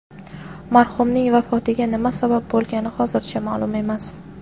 Marhumning vafotiga nima sabab bo‘lgani hozircha ma’lum emas.